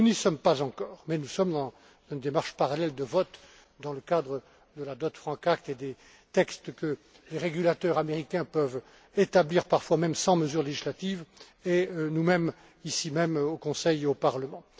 Nous n'y sommes pas encore, mais nous sommes dans une démarche parallèle de vote dans le cadre de la Dodd Frank Act et des textes que les régulateurs américains peuvent établir parfois même sans mesure législative et nous mêmes, ici même, au Conseil et au Parlement.